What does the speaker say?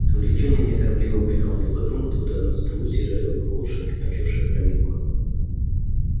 англичанин неторопливо выехал на ипподром откуда одна за другой съезжали во двор лошади окончившие проминку